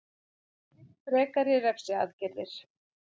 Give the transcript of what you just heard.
Vill frekari refsiaðgerðir